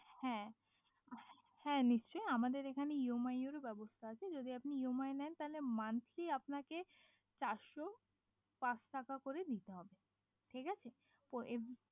পারবেন হ্যাঁ নিশ্চয় আমাদের এখানে ইএমআই ব্যবস্থাটা আছে যদি আপনি ইএমআই নেয় তাহলে মাসে আপনাকে চার সো পাঁচ টাকা করে দিতে হবে কত দিনের জন্যে সেটা